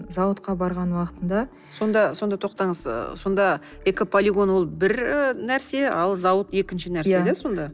зауытқа барған уақытында сонда сонда тоқтаңыз ы сонда экополигон ол бір нәрсе ал зауыт екінші нәрсе иә сонда